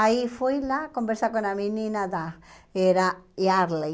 Aí fui lá conversar com a menina da... Era Yardley.